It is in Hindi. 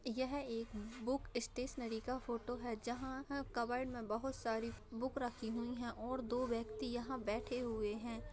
यह एक बुक स्टेशनरी का फोटो है जहाँ ह कबोर्ड में बहुत सारी बुक रखी हुई हैं और दो व्यक्ति यहाँ बैठे हुए हैं।